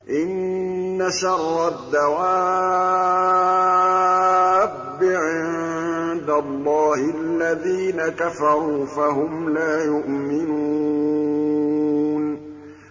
إِنَّ شَرَّ الدَّوَابِّ عِندَ اللَّهِ الَّذِينَ كَفَرُوا فَهُمْ لَا يُؤْمِنُونَ